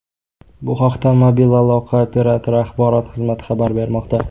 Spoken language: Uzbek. Bu haqda mobil aloqa operatori axborot xizmati xabar bermoqda .